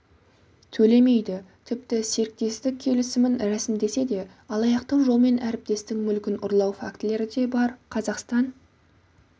төлемейді тіпті серіктестік келісімін рәсімдесе де алаяқтық жолмен әріптестің мүлкін ұрлау фактілері де бар қазақстан